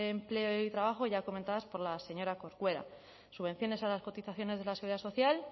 empleo y trabajo ya comentadas por la señora corcuera subvenciones a las cotizaciones de la seguridad social